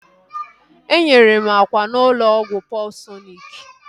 Enyere m akwa n'ụlọ ọgwụ Paulsọnik